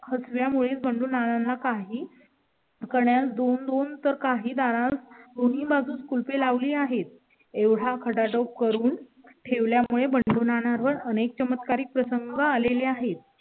मुळे बंडू नाना काही. कर्नाल पासून तर काही दार कोणी माझं कुल पे लावली आहेत एवढा खटाटोप करून ठेवल्या मुळे बंडू नाना वर अनेक चमत्कारिक प्रसंग आले आहेत.